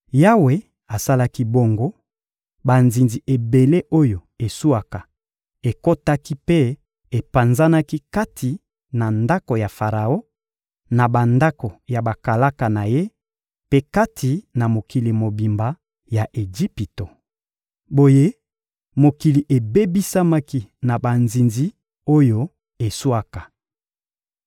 Yawe asalaki bongo: banzinzi ebele oyo eswaka ekotaki mpe epanzanaki kati na ndako ya Faraon, na bandako ya bakalaka na ye mpe kati na mokili mobimba ya Ejipito. Boye mokili ebebisamaki na banzinzi oyo eswaka.